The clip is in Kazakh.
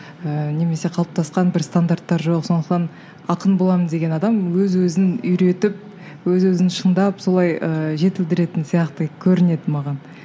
ыыы немесе қалыптасқан бір стандарттар жоқ сондықтан ақын боламын деген адам өз өзін үйретіп өз өзін шыңдап солай ыыы жетілдіретін сияқты көрінеді маған